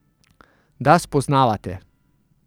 Da spoznavate?